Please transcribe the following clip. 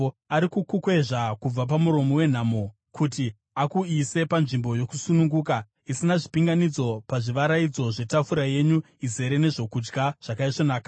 “Ari kukukwezva kubva pamuromo wenhamo, kuti akuise panzvimbo yakasununguka isina zvipinganidzo, pazvivaraidzo zvetafura yenyu izere nezvokudya zvakaisvonaka.